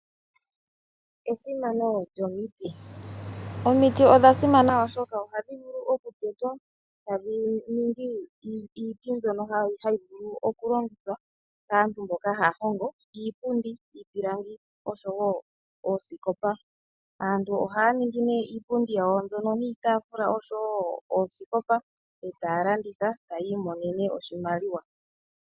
Esimano lyomiti Omiti odha simana, oshoka ohadhi vulu okutetwa e tadhi ningi iiti mbyono hayi vulu okulongithwa kaantu mbono haya hongo iipundi, iipilangi oshowo oosikopa. Aantu ohaya ningi nduno iipundi yawo mbyono niitaafula oshowo oosikopa e taya landitha taya imonene oshimaliwa.